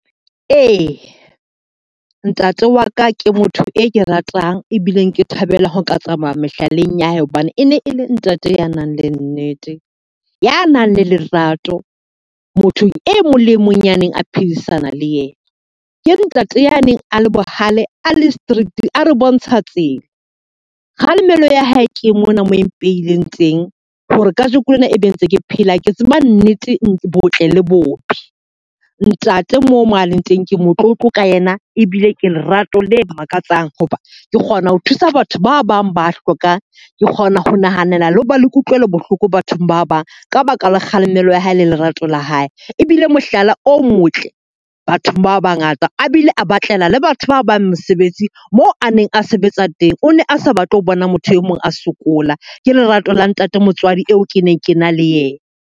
Eya, ntate wa ka ke motho e ke ratang ebileng ke thabela ho ka tsamaya mehlaleng ya hae. Hobane e ne e le ntate ya nang le nnete, ya nang le lerato, mothong e mong le e mong ya neng a phedisanang le yena. Ke ntate ya neng a le bohale, a le strict, a re bontsha tsela. Kgalemelo ya hae ke mona moo e mpehileng teng hore ka jeko lena e be ntse ke phela. Ke tseba nnete botle le bobe. Ntate moo mo a leng teng ke motlotlo ka yena ebile ke lerato le makatsang, hoba ke kgona ho thusa batho ba bang ba hlokang, ke kgona ho nahanela le hoba le kutlwelo bohloko bathong ba bang. Ka baka la kgalemelo ya hae le lerato la ka ha hae ebile mohlala o motle bathong, bao ba ngata a bile a batlela le batho ba bang mosebetsi moo a neng a sebetsa teng. O ne a sa batle ho bona motho e mong a sokola ke lerato la ntate motswadi eo ke neng ke na le yena.